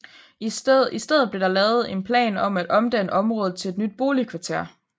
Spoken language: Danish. I stedet blev der lavet en plan om at omdanne området til et nyt boligkvarter